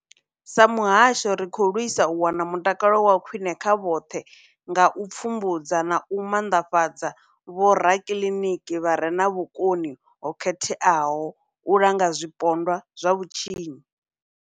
Sa muhasho, ri khou lwisa u wana mutakalo wa khwine kha vhoṱhe nga u pfumbudza na u maanḓafhadza vhorakiliniki vha re na vhukoni ho khetheaho u langa zwipondwa zwa vhutshinyi.